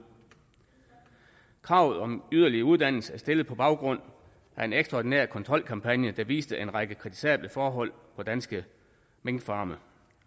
kravet om yderligere uddannelse er stillet på baggrund af en ekstraordinær kontrolkampagne der viste en række kritisable forhold på danske minkfarme